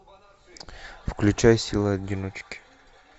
включай сила одиночки